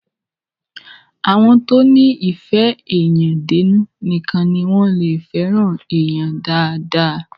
Àwọn tó ní ìfé èèyàn dénú nìkan ní wọ́n lé fẹ́ràn èèyan dáadáa.